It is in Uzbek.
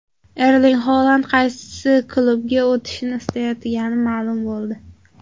Erling Holand qaysi klubga o‘tishni istayotgani ma’lum bo‘ldi.